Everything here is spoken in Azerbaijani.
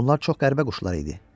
Onlar çox qəribə quşlar idi.